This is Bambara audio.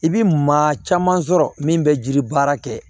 I bi maa caman sɔrɔ min be jiri baara kɛ